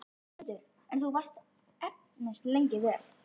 Sigmundur: En þú varst efins lengi vel?